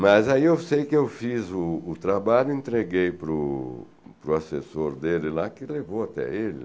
Mas aí eu sei que eu fiz o trabalho e entreguei para o assessor dele lá, que levou até ele.